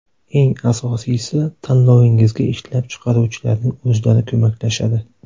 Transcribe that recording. Eng asosiysi tanlovingizga ishlab chiqaruvchilarning o‘zlari ko‘maklashadi.